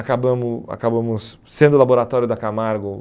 Acabamo acabamos sendo o laboratório da Camargo